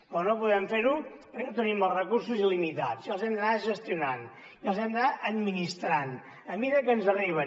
però no podem fer ho perquè no tenim els recursos il·limitats i els hem d’anar gestionant i els hem d’anar administrant a mesura que ens arriben